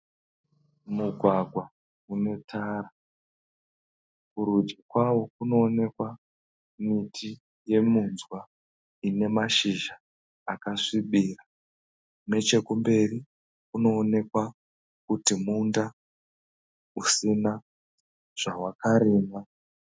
Mugwagwa une tara, kurudyi kwawo kunoonekwa miti yeminzwa ine mashizha akasvibira. Nechekumberi kunoonekwa kuti munda usina zvawakarimwa